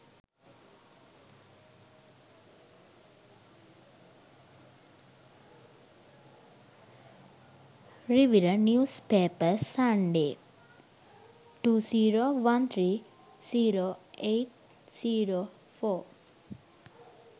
rivira news paper sunday 20130804